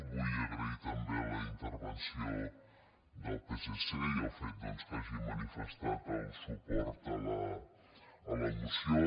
vull agrair també la intervenció del psc i el fet doncs que hagin manifestat el suport a la moció